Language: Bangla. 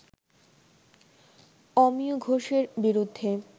অমিয় ঘোষের বিরুদ্ধে